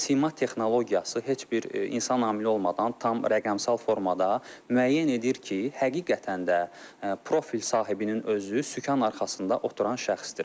Sima texnologiyası heç bir insan amili olmadan tam rəqəmsal formada müəyyən edir ki, həqiqətən də profil sahibinin özü sükan arxasında oturan şəxsdir.